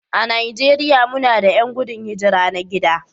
A Najeriya muna da 'yan gudun hijira na gida